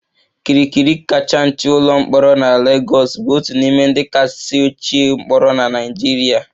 Kirikiri kacha nche ụlọ mkpọrọ na Lagos bụ otu n'ime ndị kasị ochie mkpọrọ na Nigeria